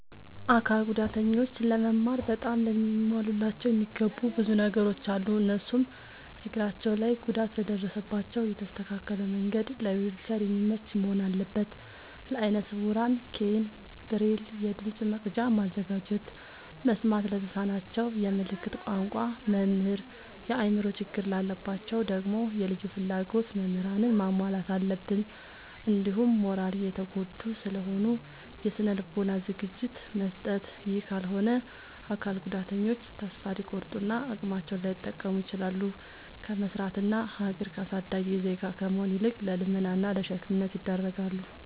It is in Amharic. አካል ጉዳተኞች ለመማር በጣም ሊሟሉላቸው የሚገቡ ብዙ ነገሮ አሉ። እነሱም፦ እግራቸው ላይ ጉዳት ለደረሰባቸው የተስተካከለ መንድ ለዊልቸር የሚመች መሆን አለበት። ለአይነ ስውራን ኬይን፣ ብሬል፤ የድምፅ መቅጃ ማዘጋጀት፤ መስማት ለተሳናቸው የምልክት ቋንቋ መምህር፤ የአእምሮ ችግር ላለባቸው ደግሞ የልዩ ፍላጎት ምህራንን ማሟላት አለብትን። እንዲሁም ማራሊ የተጎዱ ስለሆኑ የስነ ልቦና ዝግጅት መስጠት። ይህ ካልሆነ አካል ጉዳተኞች ተሰፋ ሊቆርጡ እና አቅማቸውን ላይጠቀሙ ይችላሉ። ከመስራት እና ሀገር አሳዳጊ ዜጋ ከመሆን ይልቅ ለልመና እና ለሸክምነት ይዳረጋሉ።